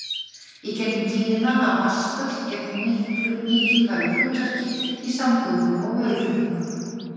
Í gegnum tíðina hafa vatnsföll gegnt mikilvægu hlutverki í samgöngum og vöruflutningum.